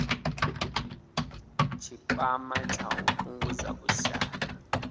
tshikwama tsha u fhungudza vhushai